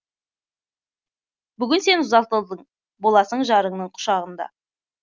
бүгін сен ұзатылдың боласың жарыңның құшағында